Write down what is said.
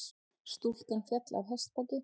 Stúlka féll af hestbaki